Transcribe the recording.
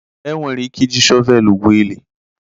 Enwere ike iji shọvelu gwuo ili.